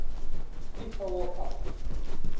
fifa world cup